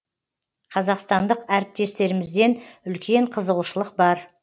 қазақстандық әріптестерімізден үлкен қызығушылық бар